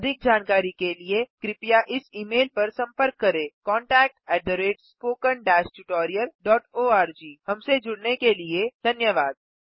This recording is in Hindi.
अधिक जानकारी के लिए कृपया इस ई मेल पर संपर्क करें contactspoken tutorialorg हमसे जुड़ने के लिए धन्यवाद